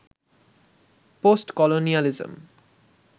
post colonialism